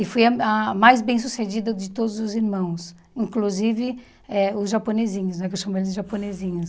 E fui a a mais bem-sucedida de todos os irmãos, inclusive eh os japonesinhos, né que eu chamo eles de japonesinhos.